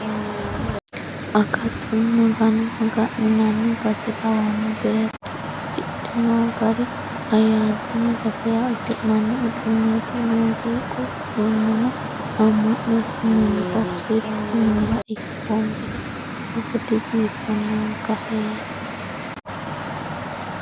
Akatu Magano maga'ninanni base lawano beetto udidhe no gari ayyaaname basera udi'nanni uduuneti muziiqu uduunine ama'note miniho sirbu miniha ikkomero togo dibiifanonka heeri.